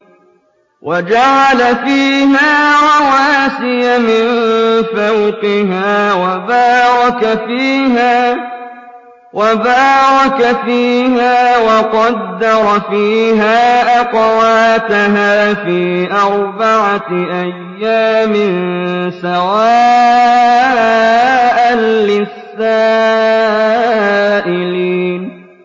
وَجَعَلَ فِيهَا رَوَاسِيَ مِن فَوْقِهَا وَبَارَكَ فِيهَا وَقَدَّرَ فِيهَا أَقْوَاتَهَا فِي أَرْبَعَةِ أَيَّامٍ سَوَاءً لِّلسَّائِلِينَ